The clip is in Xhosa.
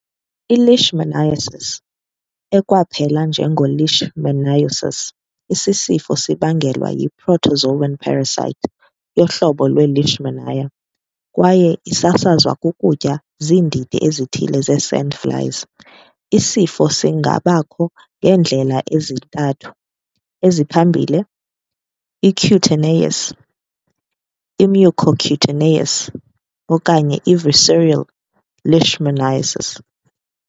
I-Leishmaniasis, ekwapelwa njengo-leishmaniosis, isi sifo sibangelwa yi- protozoan parasite yohlobo lwe- "Leishmania" kwaye isasazwa kukutyiwa ziindidi ezithile ze-sandflies. Isifo singabakho ngeendlela ezintathu ezintathu eziphambili- i-cutaneous, i-mucocutaneous, okanye i-visceral leishmaniasis.